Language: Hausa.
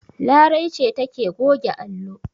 Larai ce take goge allo.